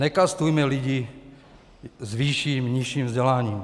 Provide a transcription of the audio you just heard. Nekastujme lidi s vyšším - nižším vzděláním.